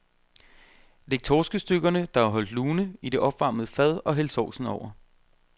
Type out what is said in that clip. Læg torskestykkerne, der er holdt lune, i det opvarmede fad og hæld sovsen over.